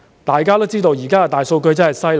大家都知道現時的大數據真的厲害。